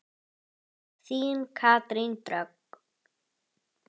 Þín Katrín Dögg.